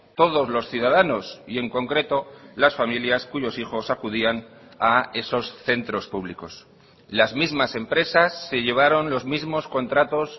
todos los ciudadanos y en concreto las familias cuyos hijos acudían a esos centros públicos las mismas empresas se llevaron los mismos contratos